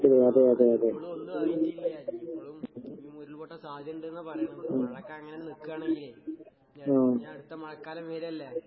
ആഹ്. ഇപ്പളുവൊന്നുവായിട്ടില്ല. ഇപ്പളും ഇനീം ഉരുള് പൊട്ടാൻ സാധ്യതയിണ്ട്ന്നാ പറയണെ. അതൊക്കെ അങ്ങനന്നെ നിക്കാണെങ്കിലേ ഇഞ്ഞിയടുത്ത മഴക്കാലം വരല്ലേ?